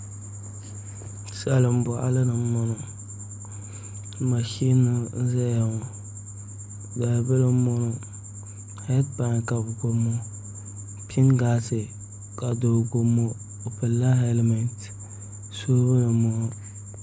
Salin boɣali ni n boŋo mashin n ʒɛya ŋo dalibili n boŋo heed pai ka bi gbubi ŋo pingaasi ka doo gbubi ŋo o pilla hɛlmɛnti soobuli n boŋo